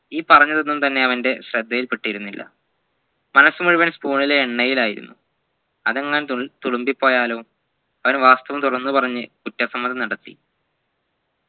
ഈ പറഞ്ഞതൊന്നും തന്നെ അവൻ്റെ ശ്രദ്ധയിൽ പെട്ടിതിരുന്നില്ല മനസ്സ് മുഴുവൻ spoon ലെ എണ്ണയിലായിരുന്നു അതെങ്ങാനും തു തുളുമ്പി പോയാലോ അവൻ വാസ്തവം തുറന്നു പറഞ്ഞു കുറ്റസമ്മതം നടത്തി